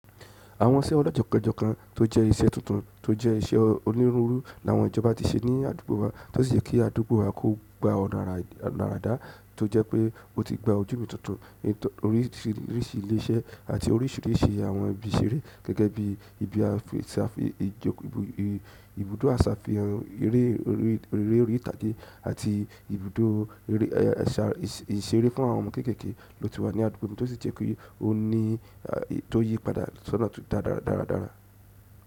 Àwọn iṣẹ́ ọlọ́ọ́kan ojọ́ kan tó jẹ́ iṣẹ́ tuntun tó jẹ́ iṣẹ́ onírúurú ni àwọn ìjọba ti ṣe ní àdúgbò wa, tó sì jẹ́ kí àdúgbò wa kó gba ọ̀nà àra tó jẹ́ pé ó ti gba ojúmọ́ tuntun oríṣìíríṣìí ilé-iṣẹ́ àti oríṣìíríṣìí àwọn ibi ìṣeré gẹ́gẹ́ bí ibùdó àṣàfínrín, eré orí ìtàgé àti ibùdó ìṣeré fún àwọn ọmọ kéékèèké ló ti wà ní àdúgbò mi tó sì jẹ́ pé ó ń yí padà sọ́nà dáradára.